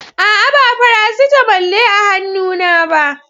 A'a, ba Farasitamol ne a hannuna ba.